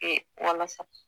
Ee walasa